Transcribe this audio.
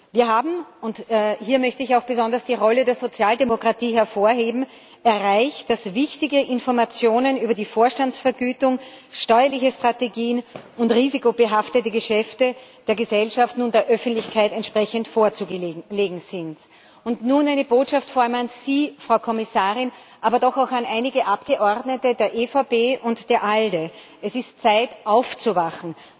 Wir haben und hier möchte ich auch besonders die Rolle der Sozialdemokratie hervorheben erreicht, dass wichtige Informationen über die Vorstandsvergütung, steuerliche Strategien und risikobehaftete Geschäfte der Gesellschaft nun der Öffentlichkeit vorzulegen sind. Nun eine Botschaft vor allem an Sie, Frau Kommissarin, aber doch auch an einige Abgeordnete der EVP und der ALDE Es ist Zeit aufzuwachen.